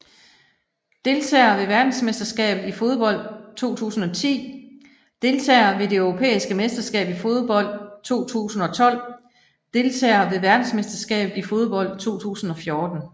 Deltagere ved verdensmesterskabet i fodbold 2010 Deltagere ved det europæiske mesterskab i fodbold 2012 Deltagere ved verdensmesterskabet i fodbold 2014